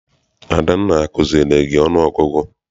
Adanna akuziere gị ọnụ ọgụgụ?